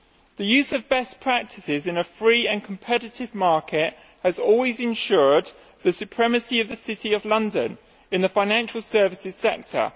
The use of best practices in a free and competitive market has always ensured the supremacy of the City of London in the financial services sector.